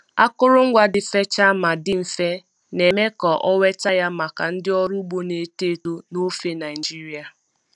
Akụrụngwa dị fechaa ma dị mfe, na-eme ka ọ nweta ya maka ndị ọrụ ugbo na-eto eto n'ofe Nigeria.